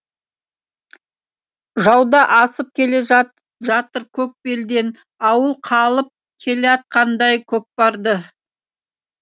жауда асып келе жатыр көк белден ауыл қалып келеатқандай көкпарды